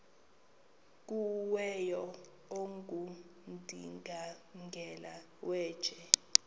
kuwele ongundimangele yeenje